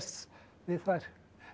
við þær